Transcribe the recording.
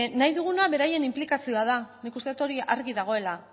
nahi duguna beraien inplikazio da nik uste dut hori argi dagoela